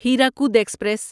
Hirakud express